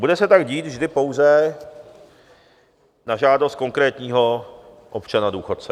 Bude se tak dít vždy pouze na žádost konkrétního občana-důchodce.